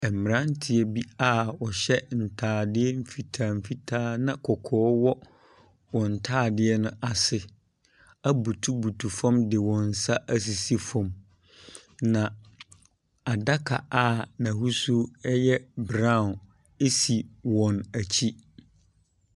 Ɛmranteɛ bi a wɔhyɛ ntaadeɛ fitaa fitaa na kɔkɔɔ wɔ wɔn ntaade no ase, ɛbutubutu fɔm de wɔnsaasisi fɔm na adaka a nahusuo yɛ brau esi wɔn ɛkyi.